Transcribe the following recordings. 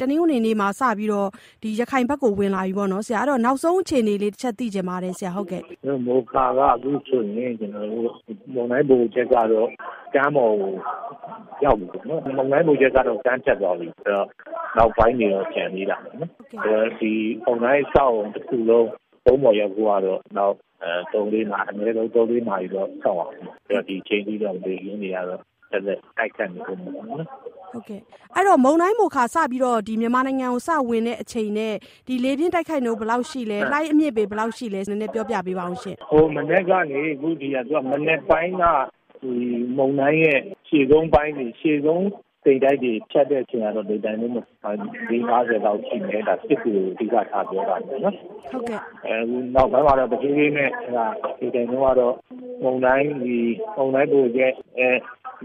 တနင်္ဂနွေနေ့မှာ စပြီးတော့ ရခိုင်ဘက်ကိုဝင်လာပြီပေါ့နော်၊ အဲဒီတော့ နောက်ဆုံးအခြေအနေလေး တချက်သိချင်ပါတယ်။ မိုခါက အခုဆိုရင် ကျနော်တို့ မုန်တိုင်းဗဟိုချက်ကတော့ ကမ်းပေါ်ကို ရောက်နေပြီပေ့ါနော်၊ မုန်တိုင်းဗဟိုချက်ကတော့ ကမ်းတက်သွားပြီ။ နောက်ပိုင်းတွေတော့ ကျန်သေးတာပေါ့နော်၊ မုန်တိုင်းအဆောက်အအုံတခုလုံးကုန်းပေါ်ရောက်ဖို့ကတော့ နောက် အနည်းဆုံး သုံး-လေးနာရီတော့ စောင့်ရအုံးမယ်။ ဒီအချိန်အထိကတော့ လေပြင်းတွေကတော့ ဆက်လက် တိုက်ခတ်နေအုံးမယ်ပေါ့နော်။ ဟုတ်ကဲ့၊ အဲဒီတော့ မုန်တိုင်းမိုခါ စပြီးတော့ဝင်တဲ့အချိန်နဲ့ လေပြင်းတိုက်ခတ်နှုန်းဘယ်လောက်ရှိတယ်၊ လှိုင်းအမြင့်ပေ ဘယ်လောက်ရှိလဲ၊ ပြောပြပေးပါအုံးရှင့်။ မနက်ပိုင်းက မုန်တိုင်းရဲ့ ရှေ့ဆုံးအပိုင်းတွေ၊ ရှေ့ဆုံးတိမ်တိုက်တွေ ဖြတ်တဲ့အချိန်ကတော့ လေတိုက်နှုန်း တနာရီ မိုင် လေး-ငါးဆယ်လောက် ရှိမယ်၊ ဒါက စစ်တွေကိုအဓိကထား ပြောတာပေ့ါနော်၊ နောက်ပိုင်းတော့ တဖြည်းဖြည်းနဲ့ လေတိုက်နှုန်းကတော့ မုန်တိုင်းဗဟိုချက်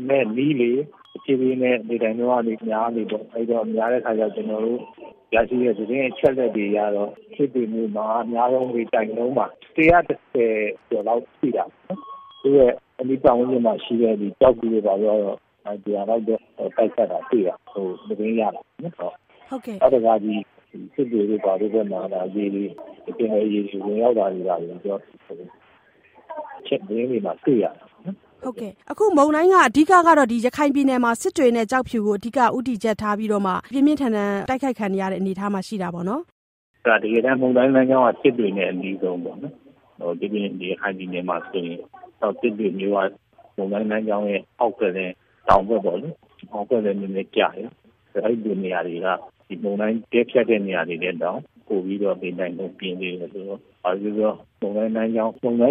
နဲ့နီးလေ၊ တဖြည်းဖြည်းနဲ့ လေတိုက်နှုန်းက များလေပေါ့။ အဲဒီတော့ များတဲ့အခါကျတော့ ကျနော်တို့ရရှိတဲ့ သတင်းအချက်အလက်တွေအရတော့ စစ်တွေမြို့မှာ အများဆုံးလေတိုက်နှုန်းက ၁၁၀ ကျော်လောက် ရှိတာပေါ့။ သူ့ရဲ့အနီးပတ်ဝန်းကျင်မှာရှိတဲ့ ကျောက်ဖြူတို့ ဘာတို့ကတော့ ၁၀၀ လောက်တော့ တိုက်ခတ်တာတွေ့ရတယ်။ သတင်းရတယ်ပေ့ါနော်၊ နောက်တခါ စစ်တွေတို့ ဘာတို့ဘက်မှာကျ ပင်လယ်ရေတွေ ဝင်ရောက်လာနေတာ....သတင်းတွေမှာ တွေ့ရတယ်။ ဟုတ်ကဲ့၊ အခု မုန်တိုင်းကတော့ အဓိက က ရခိုင်ပြည်နယ်မှာ စစ်တွေနဲ့ကျောက်ဖြူဘက်မှာ အဓိကဦးတည်ပြီးတော့မှ ပြင်းပြင်းထန်ထန် တိုက်ခတ်ခံနေရတဲ့အနေအထားမှာရှိနေတာပေါ့နော်။ တကယ်တမ်း မုန်တိုင်းလမ်းကြောင်းက စစ်တွေနဲ့အနီးဆုံးပေါ့။ ဒိပြင် ရခိုင်ပြည်နယ်မှာဆိုရင် စစ်တွေမြို့က မုန်တိုင်းလမ်းကြောင်းရဲ့ အောက်ဘက်နဲ့ တောင်ဘက်လည်းနည်းနည်းကျတယ်။ အဲလိုနေရာတွေက မုန်တိုင်းတည့်ဖြတ်တဲ့နေရာတွေထက်တောင် ပိုပြီးတော့ လေတိုက်နှုန်းပြင်းသေးတယ်။ ဘာပဲပြောပြော မုန်တိုင်းဗ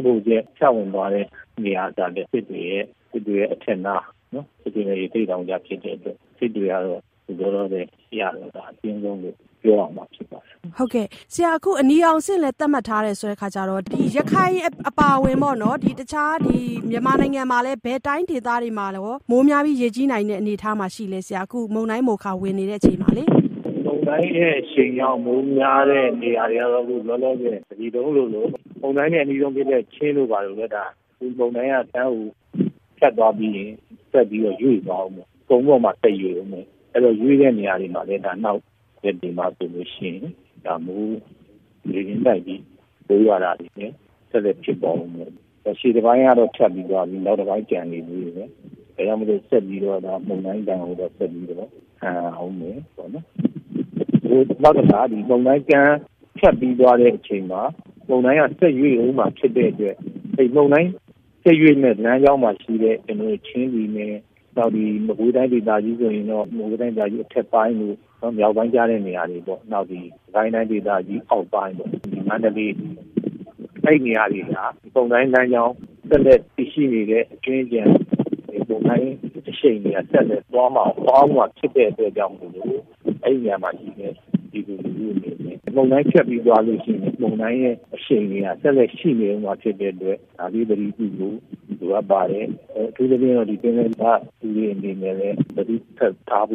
ဟိုချက် ဖြတ်ဝင်သွားတဲ့နေရာကလည်း စစ်တွေရဲ့အထက်နား၊ စစ်တွေနဲ့ ရသေ့တောင်ကြားဖြစ်တဲ့အတွက် စစ်တွေကတော့ အခုလောလောဆယ် အင်အားအပြင်းဆုံးလို့ ပြောရမှာဖြစ်ပါတယ်။ ဟုတ်ကဲ့၊ ဆရာ အခု အနီရောင်အဆင့်လည်း သတ်မှတ်ထားတယ်ဆိုတဲ့အခါကျတော့ ရခိုင်အပါအဝင်ပေါ့နော်၊ မြန်မာနိုင်ငံမှာလည်း ဘယ်တိုင်းဒေသတွေမှာရော မိုးများပြီး ရေကြီးနိုင်တဲ့အနေအထားမှာရှိလဲဆရာ။ အခု မုန်တိုင်းမိုခါ ဝင်နေတဲ့အချိန်မှာလေ။ မုန်တိုင်းရဲ့အရှိန်ကြောင့် မိုးများတဲ့နေရာတွေကတော့ အခုလောလောဆယ် တပြည်လုံးလိုလို...မုန်တိုင်းနဲ့အနီးဆုံးဖြစ်တဲ့ ချင်းတို့ ဘာတို့ မှာ မုန်တိုင်းက တန်းကိုဖြတ်သွားပြီးရင် ဆက်ပြီးတော့ ရွေ့သွားအုံးမှာ....ကုန်းပေါ်မှာ တက်ရွေ့အုံးမယ်။ အဲဒီတော့ ရွေ့တဲ့နေရာတွေမှာလည်း နောက်ရက်တွေမှာဆိုလို့ရှိရင် လေပြင်းတိုက်ပြီး မိုးရွာတာတွေ ဆက်လက် ဖြစ်ပွါးအုံးမယ်။ ရှေ့တပိုင်းကတော့ ဖြတ်ပြီးသွားပြီ၊ နောက်တပိုင်း ကျန်နေသေးတယ်။ ဒါကြောင့်မို့လို့ ဆက်ပြီးတော့မှ မုန်တိုင်းဒဏ်ကို ဆက်ပြီးခံရအုံးမယ်။ မုန်တိုင်းတန်းဖြတ်ပြီးသွားတဲ့အချိန်မှာ မုန်တိုင်းက ဆက်ရွေ့အုံးမှာဖြစ်တဲ့အတွက် မုန်တိုင်းဆက်ရွေ့မယ့်လမ်းကြောင်းမှာရှိမယ့် ချင်းပြည်နယ်၊ နောက် မကွေးတိုင်းဒေသကြီးမှာဆိုရင်တော့ မကွေးတိုင်းဒေသကြီး အထက်ပိုင်းတို့၊ မြောက်ပိုင်းကျတဲ့နေရာတေပေ့ါ၊ နောက် စစ်ကိုင်တိုင်းဒေသကြီးအောက်ပိုင်းပေါ့။ မန္တလေး။ အဲဒီနေရာတွေမှာ မုန်တိုင်းလမ်းကြောင်း ဆက်လက် တည်ရှိနေတဲ့အကြွင်းအကျန်...မုန်တိုင်းအရှိန်တွေက ဆက်လက် သွားအုံးမှာဖြစ်တဲ့အတွက်ကြောင့် အဲဒီနေရာတွေမှာရှိတဲ့ ပြည်သူလူထုအနေနဲ့ မုန်တိုင်းဖြတ်ပြီးသွားလို့ရှိရင် မုန်တိုင်းရဲ့အရှိန်တွေက ဆက်လက် ရှိနေအုံးမှာဖြစ်တဲ့အတွက် ဒါလေးသတိပြုဖို့ လိုအပ်ပါတယ်။ အထူးသဖြင့် ပင်လယ်.....အနေနဲ့လည်း သတိဆက်ထားဖို